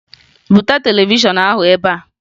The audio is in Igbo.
Buta televishọn ahụ ebe a!